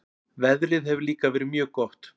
Veðrið hefur líka verið mjög gott